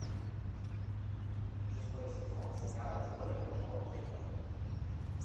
шестой сезон сериала теория большого взрыва